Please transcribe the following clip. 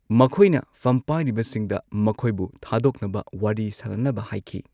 ꯃꯈꯣꯏꯅ ꯐꯝꯄꯥꯢꯔꯤꯕꯁꯤꯡꯗ ꯃꯈꯣꯏꯕꯨ ꯊꯥꯗꯣꯛꯅꯕ ꯋꯥꯔꯤ ꯁꯥꯅꯅꯕ ꯍꯥꯏꯈꯤ꯫